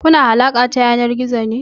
Kuna alaƙa ta yanar gizo ne?